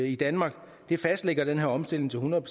i danmark fastlægger den her omstilling til hundrede